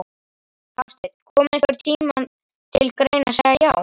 Hafsteinn: Kom einhvern tímann til greina að segja já?